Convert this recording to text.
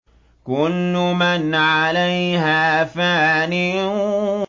كُلُّ مَنْ عَلَيْهَا فَانٍ